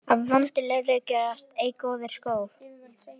Af vondu leðri gerast ei góðir skór.